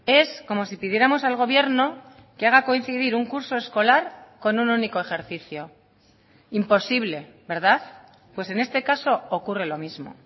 es como si pidiéramos al gobierno que haga coincidir un curso escolar con un único ejercicio imposible verdad pues en este caso ocurre lo mismo